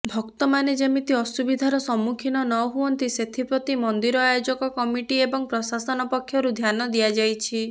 ଭକ୍ତମାନେ ଯେମିତି ଅସୁବିଧାର ସମ୍ମୁଖିନ ନହୁଅନ୍ତି ସେଥିପ୍ରତି ମନ୍ଦିର ଆୟୋଜକ କମିଟି ଏବଂ ପ୍ରଶାସନ ପକ୍ଷରୁ ଧ୍ୟାନ ଦିଆଯାଇଛି